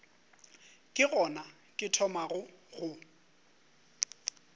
ke gona ke thomago go